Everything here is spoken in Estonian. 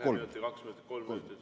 Ühe minuti, kaks minutit, kolm minutit?